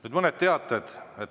Nüüd teade.